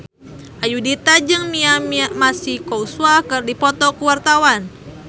Ayudhita jeung Mia Masikowska keur dipoto ku wartawan